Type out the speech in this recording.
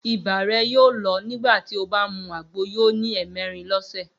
Ibà rẹ yóò lọ nígbà tí ó bá mú àgbo yóò ní ẹ̀ẹmẹ̀rin lọ́sẹ̀.